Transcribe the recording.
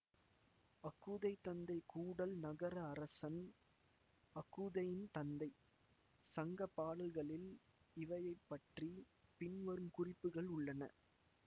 அகுதை தந்தை கூடல் நகர அரசன் அகுதையில் தந்தை சங்க பாடல்களில் இவனைப்பற்றி பின்வரும் குறிப்புகள் உள்ளன